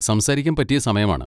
സംസാരിക്കാൻ പറ്റിയ സമയമാണ്.